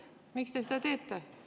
Miks te seda teete?